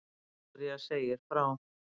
Viktoría segir frá